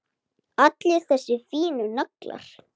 Allir þessir fínu naglar!